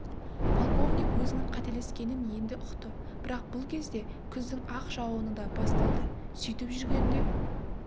полковник өзінің қателескенін енді ұқты бірақ бұл кезде күздің ақ жауыны да бас- талды сөйтіп жүргенде